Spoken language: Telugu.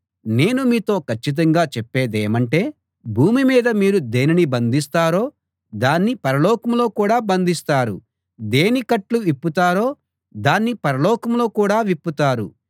నేను మీతో కచ్చితంగా చేప్పేదేమంటే భూమి మీద మీరు దేనిని బంధిస్తారో దాన్ని పరలోకంలో కూడా బంధిస్తారు దేని కట్లు విప్పుతారో దాన్ని పరలోకంలో కూడా విప్పుతారు